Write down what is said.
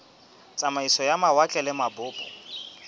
tsamaiso ya mawatle le mabopo